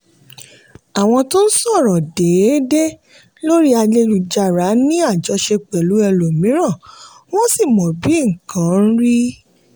àwọn tó ń sọ̀rọ̀ déédéé lórí ayélujára ní àjọṣe pẹ̀lú ẹlòmíràn wọ́n sì mọ bí nǹkan rí.